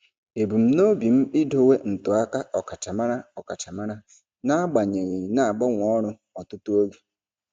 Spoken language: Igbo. Ebumnobi m idowe ntụaka ọkachamara ọkachamara n'agbanyeghị na-agbanwe ọrụ ọtụtụ oge.